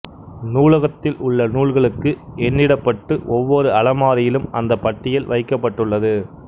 நூலகத்தில் உள்ள நூல்களுக்கு எண்ணிடப்பட்டு ஒவ்வொரு அலமாரியிலும் அந்த பட்டியல் வைக்கப்பட்டுள்ளது